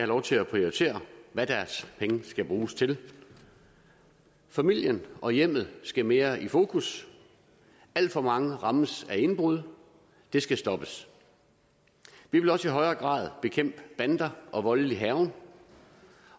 lov til at prioritere hvad deres penge skal bruges til familien og hjemmet skal mere i fokus alt for mange rammes af indbrud det skal stoppes vi vil også i højere grad bekæmpe bander og voldelig hærgen